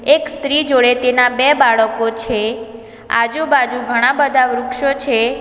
એક સ્ત્રી જોડે તેના બે બાળકો છે આજુબાજુ ઘણા બધા વૃક્ષો છે.